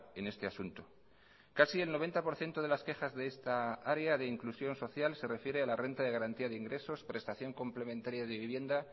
en este asunto casi el noventa por ciento de las quejas de esta área de inclusión social se refiere a la renta de garantía de ingresos prestación complementaria de vivienda